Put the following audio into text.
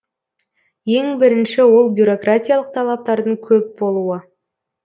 ең бірінші ол бюрократиялық талаптардың көп болуы